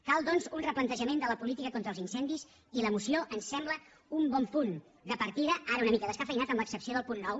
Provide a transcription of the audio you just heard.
cal doncs un replantejament de la política contra els incendis i la moció em sembla un bon punt de partida ara una mica descafeïnat amb l’excepció del punt nou